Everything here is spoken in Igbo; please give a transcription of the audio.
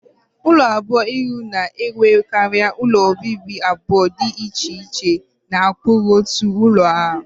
Ulo abụọ-ihu na-enwekarị ụlọ obibi abụọ dị iche iche na okpuru otu ụlọ a